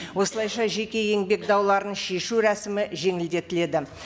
осылайша жеке еңбек дауларын шешу рәсімі жеңілдетіледі